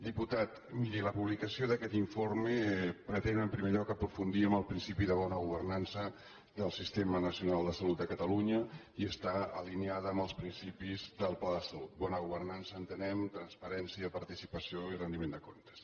diputat miri la publicació d’aquest informe pretén en primer lloc aprofundir en el principi de bona governança del sistema nacional de salut de catalunya i està alineada amb els principis del pla de salut per bona governança entenem transparència participació i rendiment de comptes